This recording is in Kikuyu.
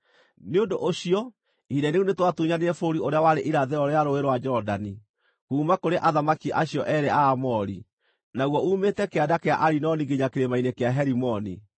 Nĩ ũndũ ũcio ihinda-inĩ rĩu nĩtwatunyanire bũrũri ũrĩa warĩ irathĩro rĩa Rũũĩ rwa Jorodani, kuuma kũrĩ athamaki acio eerĩ a Aamori, naguo uumĩte kĩanda kĩa Arinoni nginya kĩrĩma-inĩ kĩa Herimoni.